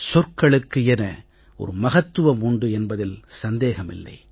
சொற்களுக்கு என ஒரு மகத்துவம் உண்டு என்பதில் சந்தேகம் இல்லை